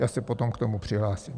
Já se potom k tomu přihlásím.